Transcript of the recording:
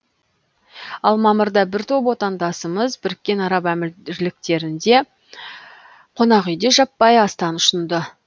ал мамырда бір топ отандасымыз біріккен араб әмірліктеріндегі қонақүйде жаппай астан ұшынды